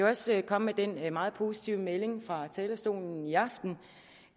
også komme med den meget positive melding fra talerstolen i aften